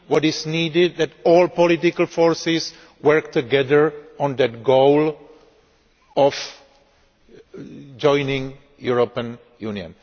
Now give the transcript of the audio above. What is needed is that all political forces work together on that goal of joining the European Union.